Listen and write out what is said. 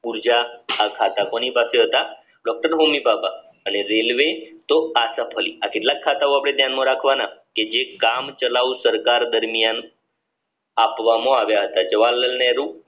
ઉર્જા ખાતા કોની પાસે હતા કેટલાક ખાતાઓ આપણે ધ્યાનમાં રાખવાના કે જે કામ ચલાવું સરકાર દરમિયાન આપવામાં આવ્યા હતા જવાલાલ નેહરૂ